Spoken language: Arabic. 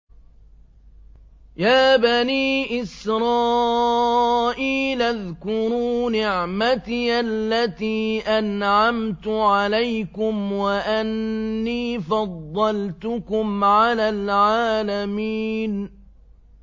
يَا بَنِي إِسْرَائِيلَ اذْكُرُوا نِعْمَتِيَ الَّتِي أَنْعَمْتُ عَلَيْكُمْ وَأَنِّي فَضَّلْتُكُمْ عَلَى الْعَالَمِينَ